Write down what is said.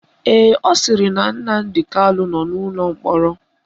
Ee, ọ sịrị na Nnamdi Kanu nọ n'ụlọ mkpọrọ